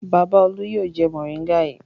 Bàbá Olú yóò jẹ mòríngà yìí.